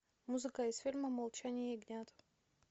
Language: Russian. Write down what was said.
музыка из фильма молчание ягнят